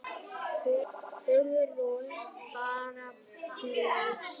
Hugrún: Bara blys?